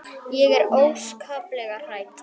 Ég er óskaplega hrædd.